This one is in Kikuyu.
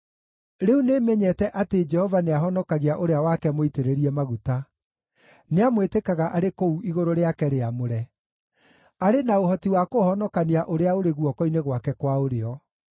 Rĩu nĩmenyete atĩ Jehova nĩahonokagia ũrĩa wake mũitĩrĩrie maguta; nĩamwĩtĩkaga arĩ kũu igũrũ rĩake rĩamũre, arĩ na ũhoti wa kũhonokania ũrĩa ũrĩ guoko-inĩ gwake kwa ũrĩo.